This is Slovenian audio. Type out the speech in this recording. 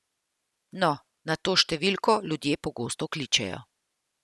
No, na to številko ljudje pogosto kličejo.